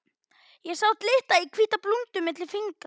Ég sá glitta í hvíta blúndu milli fingra.